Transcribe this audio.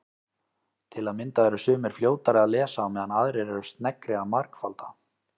Til að mynda eru sumir fljótari að lesa á meðan aðrir eru sneggri að margfalda.